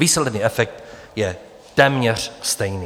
Výsledný efekt je téměř stejný.